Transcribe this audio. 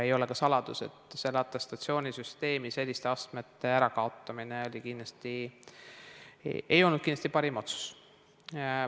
Ei ole ka saladus, et atestatsioonisüsteemi astmete ärakaotamine ei olnud kindlasti parim otsus.